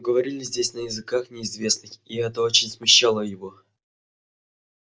но говорили здесь на языках неизвестных и это очень смущало его